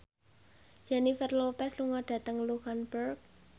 Jennifer Lopez lunga dhateng luxemburg